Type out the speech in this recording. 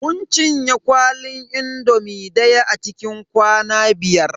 Mun cinye kwalin indomi daya a cikin kwana biyar.